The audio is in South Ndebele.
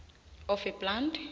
of a plant